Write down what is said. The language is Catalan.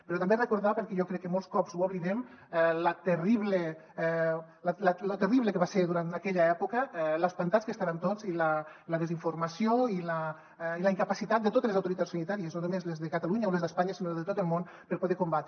però també recordar perquè jo crec que molts cops ho oblidem lo terrible que va ser aquella època lo espantats que estàvem tots i la desinformació i la incapacitat de totes les autoritats sanitàries no només les de catalunya o les d’espanya sinó de tot el món per poder ho combatre